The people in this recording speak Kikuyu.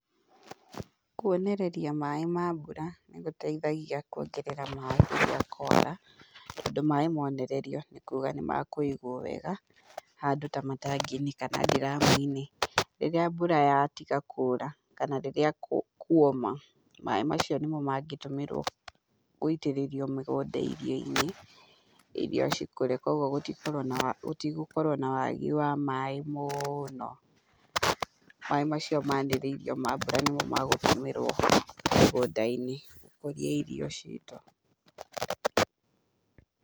Kuonereria maĩ ma mbura nĩ gũteithagia kuongerera maĩ rĩrĩa kwara, tondũ maĩ monererio nĩ kuuga nĩ makũigwo wega, handũ ta matangi-inĩ kana ndiramu-inĩ rĩrĩa mbura yatiga kuura kana rĩrĩa kuoma, maĩ macio nĩmo mangĩtũmĩrwo gũitĩrĩrio mĩgũnda irio-inĩ, irio cikũre, koguo gũtigũkorwo na wagi wa maĩ mũno. Maĩ macio manĩrĩirio ma mbura nĩmo magũtũmĩrwo mũgũnda-inĩ gũkũria irio ciitũ.